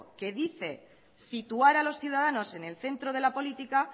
que dice situar a los ciudadanos en el centro de la política